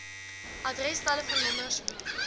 adres telefoonnommers hoe